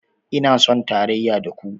Ina son tarayya da ku